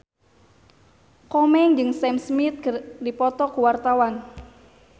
Komeng jeung Sam Smith keur dipoto ku wartawan